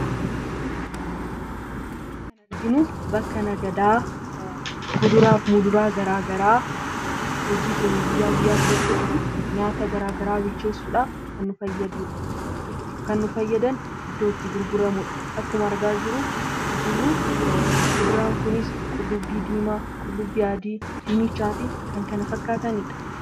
Kun bakka nagadaa kuduraa fi muduraa garaa garaa hojii keenya guyyaa guyyaa keessatti nyaata garaagaraa bilcheessudhaaf kan nu fayyadudha. Kan nu fayyadan iddoo itti gurguramudha. Akkuma argaa jirru kuduraan kun qullubbii diimaa, qullubbii adii, dinnichaa fi kan kana fakkaatanidha.